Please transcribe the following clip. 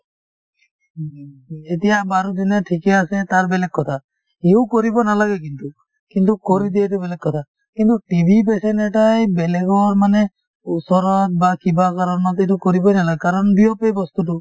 এতিয়া বাৰু যোনে ঠিকে আছে তাৰ বেলেগ কথা সিও কৰিব নালাগে কিন্তু কিন্তু কৰি দিয়ে এইটো বেলেগ কথা কিন্তু TB patient এটাই বেলেগৰ মানে ওচৰত বা কিবা কাৰণত এইটো কৰিবয়ে নালাগে কাৰণ বিয়পে এই বস্তুতো